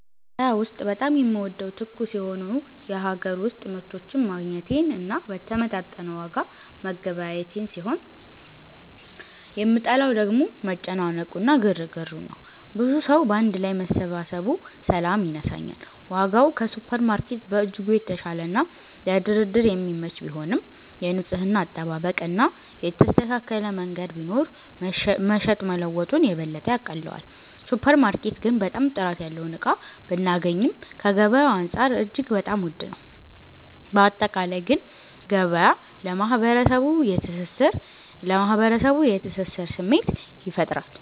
ገበያ ውስጥ በጣም የምወደው ትኩስ የሆኑ የሀገር ውስጥ ምርቶችን ማግኘቴን እና በተመጣጠነ ዋጋ መገበያየቴን ሲሆን የምጠላው ደግሞ መጨናነቁ እና ግርግሩን ነው። ብዙ ሰዉ ባንድ ላይ መሰባሰቡ ሰላም ይነሳኛል። ዋጋው ከሱፐርማርኬት በእጅጉ የተሻለና ለድርድር የሚመች ቢሆንም፣ የንጽህና አጠባበቅ እና የተስተካከለ መንገድ ቢኖር መሸጥ መለወጡን የበለጠ ያቀለዋል። ሱፐር ማርኬት ግን በጣም ጥራት ያለውን እቃ ብናገኚም ከገበያዉ አንፃር እጅግ በጣም ዉድ ነው። ባጠቃላይ ግን ገበያ ለማህበረሰቡ የትስስር ስሜት ይፈጥራል።